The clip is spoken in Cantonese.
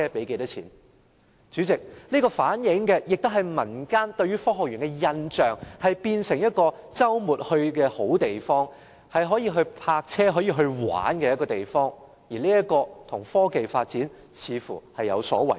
代理主席，這亦反映出民間對科學園的印象是它變成了周末的好去處，是可以泊車和遊玩的地方，這似乎與科技的發展有所違背。